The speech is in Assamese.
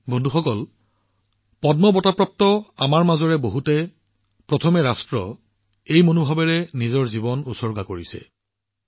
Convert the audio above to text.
বন্ধুসকল পদ্ম বঁটা বিজয়ী বহুসকলৰ মাজৰ সেই বন্ধুসকল যিয়ে সদায় দেশক সৰ্বোচ্চ স্থানত ৰাখিছে তেওঁলোকৰ জীৱন প্ৰথম ৰাষ্ট্ৰ নীতিৰ প্ৰতি সমৰ্পিত কৰিছে